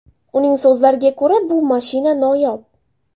Uning so‘zlariga ko‘ra, bu mashina noyob.